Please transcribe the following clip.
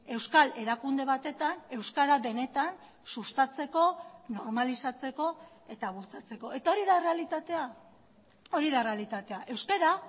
euskal erakunde batetan euskara benetan sustatzeko normalizatzeko eta bultzatzeko eta hori da errealitatea hori da errealitatea euskara